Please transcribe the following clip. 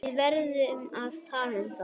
Við erum að tala um það!